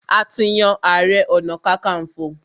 A ti yan ààrẹ-ọ̀nà-kakanfò.